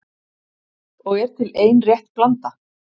Og er til ein rétt blanda